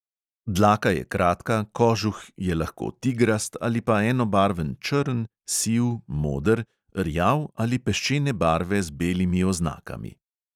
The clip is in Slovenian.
Dlaka je kratka, kožuh je lahko tigrast ali pa enobarven črn, siv, moder, rjav ali peščene barve z belimi oznakami.